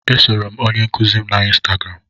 E soro m onye nkuzi m na ịnstagram.